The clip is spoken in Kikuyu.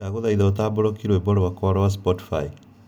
Ndagũthaitha ũtambũrũkie rwĩmbo rwakwa rwa Spotify